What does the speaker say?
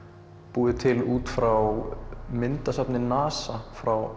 búið til út frá myndasafni NASA frá